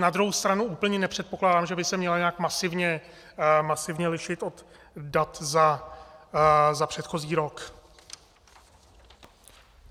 Na druhou stranu úplně nepředpokládám, že by se měla nějak masivně lišit od dat za předchozí rok.